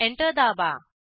enter दाबा